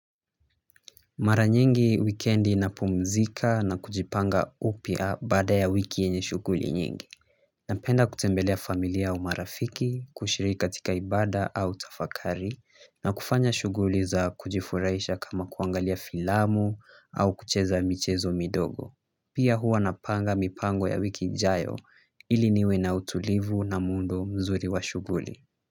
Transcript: Mara nyingi wikendi napumzika na kujipanga upya baada ya wiki yenye shughuli nyingi napenda kutembelea familia au marafiki, kushiriki katika ibada au tafakari na kufanya shughuli za kujifurahisha kama kuangalia filamu au kucheza michezo midogo pia huwa napanga mipango ya wiki ijayo ili niwe na utulivu na muundo mzuri wa shughuli.